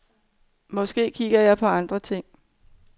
Måske kiggede jeg på andre ting.